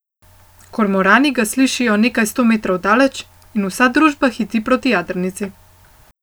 Kormorani ga slišijo nekaj sto metrov daleč, in vsa družba hiti proti jadrnici.